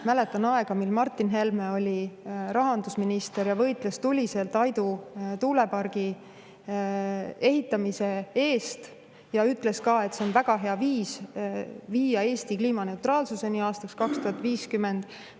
Mäletan aega, mil Martin Helme oli rahandusminister ja võitles tuliselt Aidu tuulepargi ehitamise eest ja ütles ka, et see on väga hea viis viia Eesti kliimaneutraalsuseni aastaks 2050.